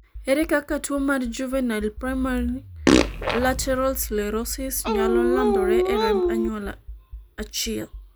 ere kaka tuo mar juvenile primary lateral sclerosis nyalo landore e remb anyuola achiel?